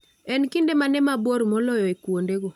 En kinde mane mabor moloyo e kuondego